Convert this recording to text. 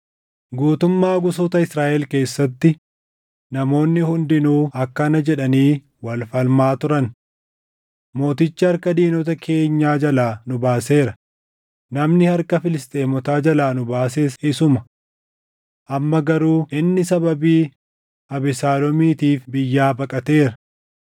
Guutummaa gosoota Israaʼel keessatti namoonni hundinuu akkana jedhanii wal falmaa turan; “Mootichi harka diinota keenyaa jalaa nu baaseera; namni harka Filisxeemotaa jalaa nu baases isuma. Amma garuu inni sababii Abesaaloomiitiif biyyaa baqateera;